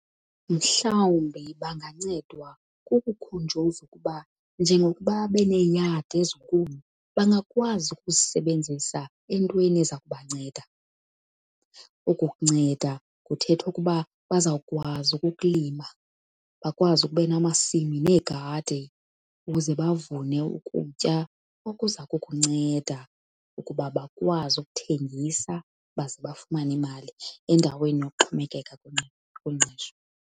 Mhlawumbi bangancedwa kukukhunjuzwa ukuba njengokuba beneeyadi ezinkulu bangakwazi ukuzisebenzisa entweni eza kubanceda. Oku kunceda kuthetha ukuba bazawukwazi ukulima, bakwazi ukuba namasimi neegadi ukuze bavune ukutya okuza kukunceda ukuba bakwazi ukuthengisa baze bafumane imali endaweni yokuxhomekeka kwingqesho.